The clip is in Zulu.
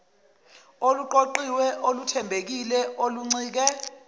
oluqoqiwe oluthembekile oluncike